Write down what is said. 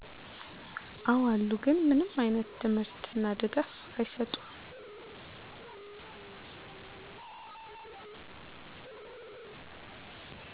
አው አሉ ግን ምንም አይነት ትምህርት እና ድጋፍ አይሰጡም